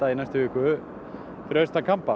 í næstu viku fyrir austan